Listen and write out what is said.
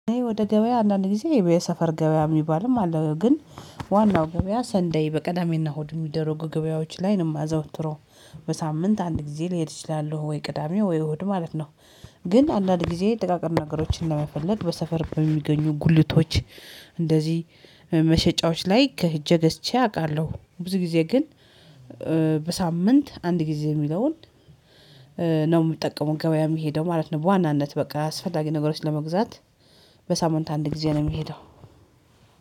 ወደ ገበያ አንዳንድ ጊዜ የሰፈር ገበያ የሚባልም አለ ግን ዋናው ገበያ ሰንደይ በቅዳሜና እሁድ የሚደረጉ ገበያዎች ላይ ነው የማዘወትረው። በሳምንት አንድ ጊዜ ልሄድ እችላው ወይ ቅዳሜ ወይ እሁድ ማለት ነው። ግን አንዳንድ ጊዜ ጥቃቅን ነገሮችን ለመፈለግ በሰፈር በሚገኙ ጉልቶች እንደዚህ መሸጫዎች ላይ ከሂጄ ገዝቼ አውቃለሁ። ብዙ ጊዜ ግን በሳምንት አንድ ጊዜ የሚለውን ነው የምትጠቀመው ገበያ የምሄደው ማለት ነው። በዋናነት በቃ አስፈላጊ ነገሮች ለመግዛት። በሳምንት አንድ ጊዜ ነው የሚሄደው።